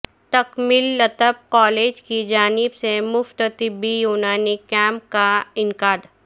تکمیل الطب کالج کی جانب سے مفت طبی یونانی کیمپ کا انعقاد